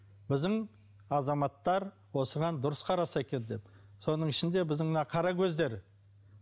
біздің азаматтар осыған дұрыс қараса екен деп соның ішінде біздің мына қара көздер